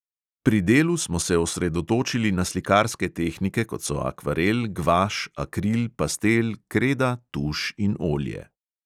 Pri delu smo se osredotočili na slikarske tehnike, kot so akvarel, gvaš, akril, pastel, kreda, tuš in olje.